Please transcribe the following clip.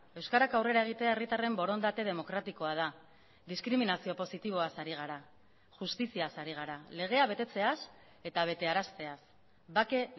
euskarak aurrera egitea herritarren borondate demokratikoa da diskriminazio positiboaz ari gara justiziaz ari gara legea betetzeaz eta betearazteaz bake